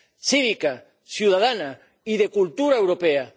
cívica, ciudadana y de cultura europea.